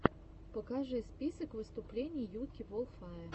покажи список выступлений юки волфае